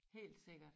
Helt sikkert